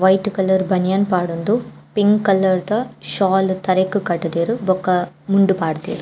White colour banian ಪಾಡೊಂದು pink ಕಲರ್ದ ಶಾಲ್ ತರೆಕ್ ಕಟ್ ದೆರ್ ಬೊಕ ಮುಂಡು ಪಾಡ್ದೆರ್.